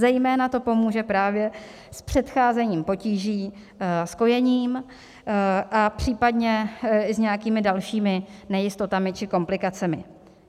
Zejména to pomůže právě s předcházením potíží s kojením a případně i s nějakými dalšími nejistotami či komplikacemi.